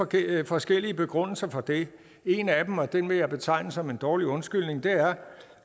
givet forskellige begrundelser for det en af dem og den vil jeg betegne som en dårlig undskyldning